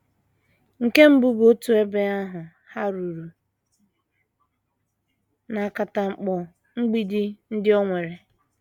Nke mbụ bụ otú ebe ahụ hàruru na akatamkpo mgbidi ndị o nwere.